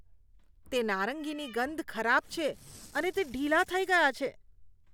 તે નારંગીની ગંધ ખરાબ છે અને તે ઢીલાં થઈ ગયાં છે.